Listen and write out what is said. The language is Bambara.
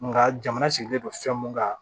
Nka jamana sigilen don fɛn mun kan